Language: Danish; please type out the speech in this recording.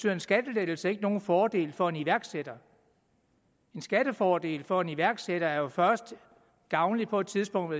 er en skattelettelse ikke nogen fordel for en iværksætter en skattefordel for en iværksætter er jo først gavnlig på et tidspunkt hvor